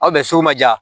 Aw bɛ sugu ma ja